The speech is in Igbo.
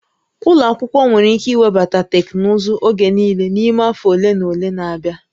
Ụlọ akwụkwọ nwere ike iwebata teknụzụ oge niile n'ime afọ ole na ole na-abịa